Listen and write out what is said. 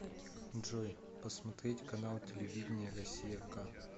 джой посмотреть канал телевидения россия к